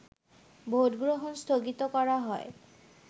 ভোটগ্রহণ স্থগিত করা হয়